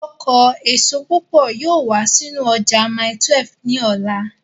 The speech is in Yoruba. Ọkọ èso púpọ̀ yóò wá sínú ọjà mile 12 ní ọ̀la